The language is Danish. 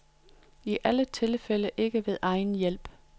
I alle tilfælde ikke ved egen hjælp.